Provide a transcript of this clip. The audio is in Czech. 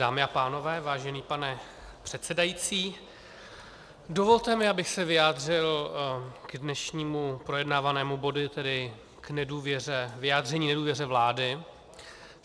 Dámy a pánové, vážený pane předsedající, dovolte mi, abych se vyjádřil k dnešnímu projednávanému bodu, tedy k vyjádření nedůvěře vládě.